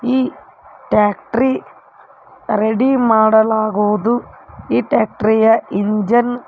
ಈ tractor ready ಮಾಡಲಾಗುವುದು ಈ ಟ್ಯಾಕ್ಟರಿ ಯ ಎಂಜಿನ್ --